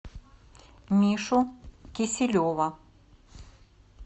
мишу киселева